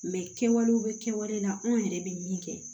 Mɛ kɛwalew bɛ kɛwale la anw yɛrɛ bɛ min kɛ